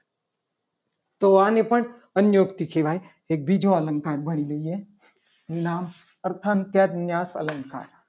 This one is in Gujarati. તો આને પણ અતિ યુક્તિ કહેવા. ય એક બીજું અલંકાર ભણી લઈએ. નામ અર્થ થ્યો. અલંકાર